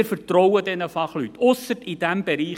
Wir vertrauen diesen Fachleuten – ausser in diesem Bereich.